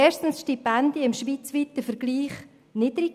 – Erstens sind die Stipendien im schweizweiten Vergleich niedrig.